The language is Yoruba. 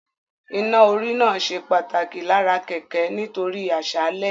Iná-orí náà ṣe pàtàkì lára kẹ̀kẹ́ nítorí àṣálẹ́